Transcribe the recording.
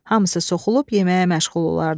Hamısı soxulub yeməyə məşğul olardı.